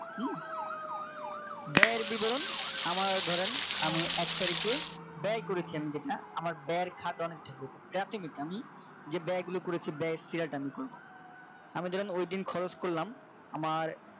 ব্যয়ের বিবরণ আমার ধরেন আমি এক তারিখে ব্যয় করেছি আমি যেটা আমার খাত অনেকটা বেশি বলছি আমি যে ব্যয় গুলো করেছি ব্যয় এর share টা আমি করব আমি ধরেন ঐদিন খরচ করলাম আমার